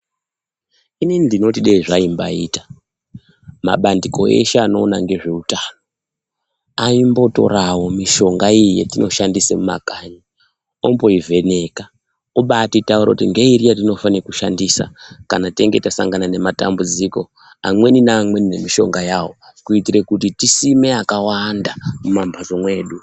Ini ndinoti dai zvaimbayita, mabandiko ese anoona nezveutano aimbotora mishonga yatinoshandisa mumimagari omboivheneka oti taurira yatinofanira kushandisa kana tasangana nematambudziko. Amweni amweni nemishonga yavo, kitira kuti tisime yakawanda mumamhatso medu